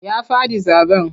Ya faɗi zaɓen.